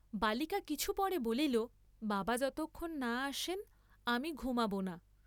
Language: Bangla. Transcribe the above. বালিকা কিছু পরে বলিল বাবা যতক্ষণ না আসেন আমি ঘুমাব না।